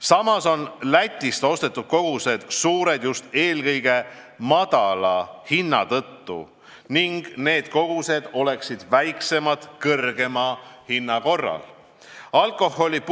Samas on Lätist ostetud kogused suured just eelkõige madala hinna tõttu ning need kogused oleksid kõrgema hinna korral väiksemad.